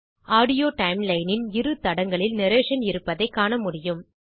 audio timeline இன் இரு தடங்களில் நரேஷன் இருப்பதைக் காணமுடியும்